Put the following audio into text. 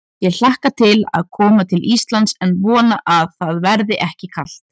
Ég hlakka til að koma til Íslands en vona að það verði ekki kalt.